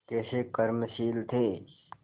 कैसे कर्मशील थे